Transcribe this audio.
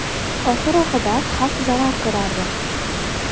Oxir-oqibat xalq zarar ko‘rardi.